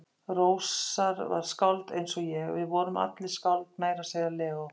Rósar var skáld eins og ég, við vorum allir skáld, meira að segja Leó.